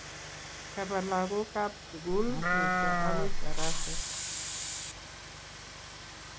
Kaba lagook kab sugul Mutyo agoi taraset